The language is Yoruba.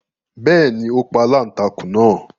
Bẹ́ẹ̀ni, ó pa aláǹtakùn náà